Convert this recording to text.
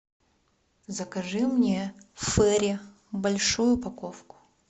закажи мне фейри большую упаковку